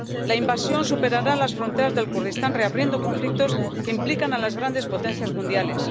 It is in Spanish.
La invasión superará las fronteras del Kurdistán, reabriendo conflictos que implican a las grandes potencias mundiales.